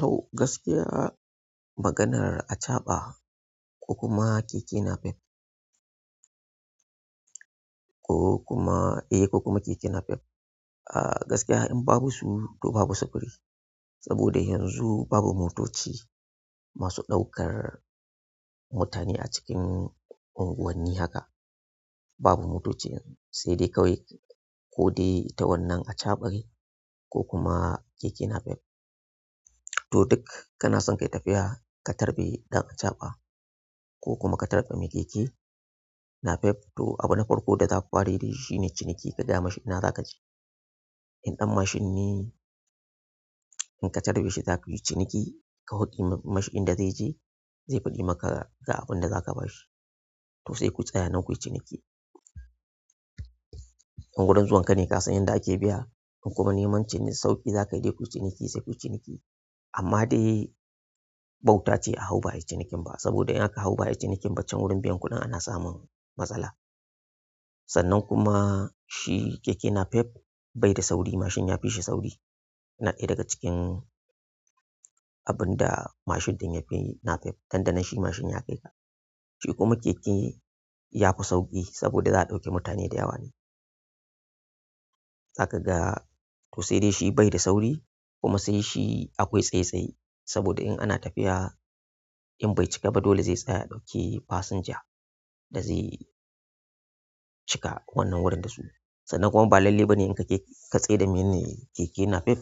To gaskiya maganan acaɓa, ko kuma keke napep. Ko kuma eh, ko kuma keke napep. Ah, gaskiya in babu su, to babu sufuri saboda yanzu babu motoci masu ɗaukar mutane a cikin unguwanni haka. Babu motocin sai dai kawai ko dai ita wannan achaɓa, ko kuma keke napep. To duk kana son ka yi tafiya, ka tarbe ɗan achaɓa ko kuma ka tarba mai keke napep. To abin farko da zata fara yi da shi shine ciniki. Ki gaya ma shi ina za ka je. In ɗan mashin ne, in ka tare shi za ku yi ciniki. Ka hwaɗi mashi inda zai je, zai faɗi maka ga abin da za ka ba shi. To sai ku tsaya nan ku yi ciniki. In wurin zuwan ka ne ka san yadda ake biya, in kuma neman cin sauƙi za ka je ku yi ciniki, sai ku yi ciniki. Amma dai bauta ce a hau ba ayi cinikin ba. Saboda in aka hau ba ayi cinikin ba can wurin biyan kuɗin ana samun matsala. Sannan kuma shi keke napep, bai da sauri, mashin ya fi shi sauri. Na ɗaya daga cikin abin da mashin ɗin yafi napep. Dan da nan shi mashin ya kai ka. Shi kuma keke ya fi sauƙi, saboda za a ɗauke mutane da yawa ne. Za ka ga to sai dai shi bai da sauri, kuma sai shi akwai tsaye-tsaye. Saboda in ana tafiya in bai cika ba dole zai tsaya ya ɗauki fasinja, da zai cika wannan wurin da su, sannan kuma ba lallai bane ka tsayar da mai keke napep